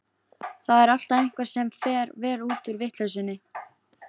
Það er alltaf einhver sem fer vel út úr vitleysunni.